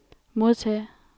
modtage